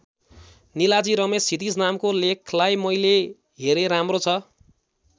निलाजी रमेश क्षितिज नामको लेखलाई मैले हेरे राम्रो छ।